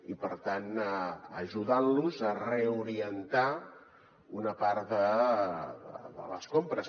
i per tant ajudant los a reorientar una part de les compres